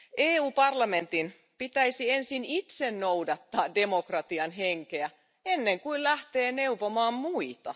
EU parlamentin pitäisi ensin itse noudattaa demokratian henkeä ennen kuin se lähtee neuvomaan muita.